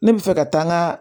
Ne bɛ fɛ ka taa n ka